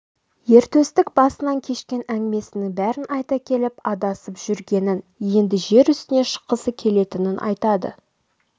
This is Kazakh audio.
ер төстік басынан кешкен әңгімесінің бәрін айта келіп адасып жүргенін енді жер үстіне шыққысы келетінін айтады